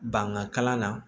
Bangan kalan na